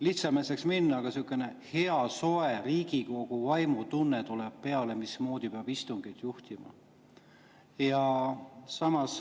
lihtsameelseks minna, aga selline hea soe Riigikogu vaimu tunne tuleb peale, mismoodi peab istungeid juhtima.